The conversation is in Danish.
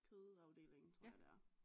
Kødafdelingen tror jeg det er